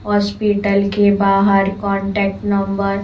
hospital के बाहर contact number --